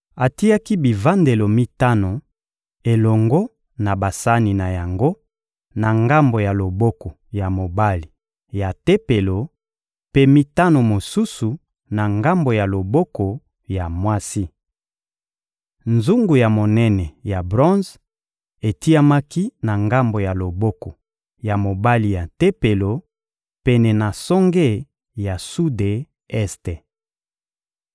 Atiaki bivandelo mitano elongo na basani na yango na ngambo ya loboko ya mobali ya Tempelo, mpe mitano mosusu na ngambo ya loboko ya mwasi. Nzungu ya monene ya bronze etiamaki na ngambo ya loboko ya mobali ya Tempelo, pene na songe ya sude-este. (2Ma 4.11)